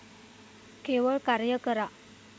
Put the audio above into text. केवळ कार्य करा!